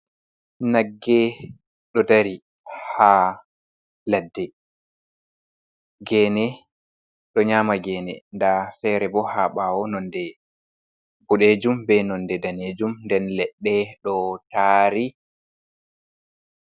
Nagge ɗo ɗari ha laɗɗe. Gene ɗo nyama gene. Ɗa fere bo ha bawo nonɗe buɗejum be nonɗe ɗanejum. Nɗen leɗɗe ɗo tari.